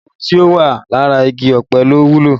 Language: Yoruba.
Gbogbo ohun tí ó wà lára igi ọ̀pẹ ló wúlò